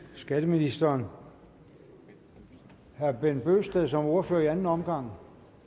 skatteministeren herre bent bøgsted som ordfører i anden omgang